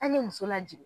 An ye muso lajigin